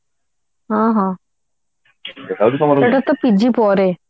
ହଁ ହଁ ସେଇଟା ତ PG ପରେ ନା